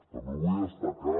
també vull destacar